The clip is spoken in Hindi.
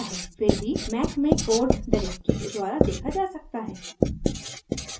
फिर भी mac में कोड डिरेक्टरी के द्वारा देखा जा सकता है